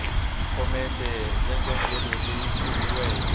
phomete ya njhongelo leyi kumiweke